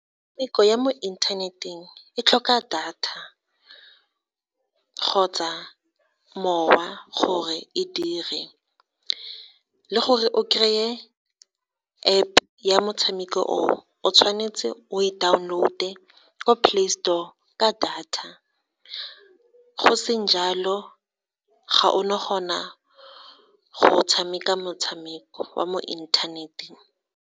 Metshameko ya mo inthaneteng e tlhoka data kgotsa mowa, gore e dire, le gore o kry-e App ya motshameko o, o tshwanetse o e download-e ko Play Store ka data. Go seng jalo, ga ona gona go tshameka motshameko wa mo inthaneteng.